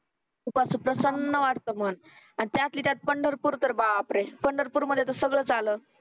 खूप असं प्रसन्न वाटतं मन त्यातली त्यात पंढरपूर तर पंढरपूर मधील सगळंच आल